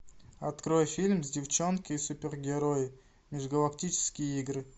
открой фильм девчонки супергерои межгалактические игры